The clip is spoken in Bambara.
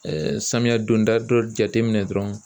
samiya donda dɔ jate minɛ dɔrɔn.